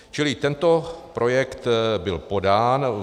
Čili tento projekt byl podán.